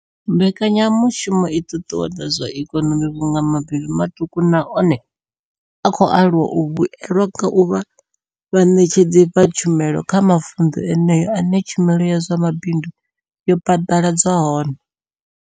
Mbekanya mushumo i ṱuṱuwedza zwa ikonomi vhunga mabindu maṱuku na one a khou aluwa a vhuelwa nga u vha vhaṋetshedzi vha tshumelo kha mavundu eneyo ane tshumelo ya zwa mabindu ya phaḓaladzwa hone.